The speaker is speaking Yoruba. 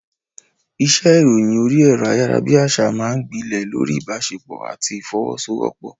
Iṣẹ́ ìròyìn orí ẹ̀rọ ayárabíàṣá máa ń gbilẹ̀ lórí ìbáṣepọ̀ àti ìfọwọ́sowọ́pọ̀.